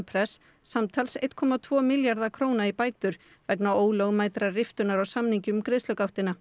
press samtals einum komma tvo milljarða króna í bætur vegna ólögmætrar riftunar á samningi um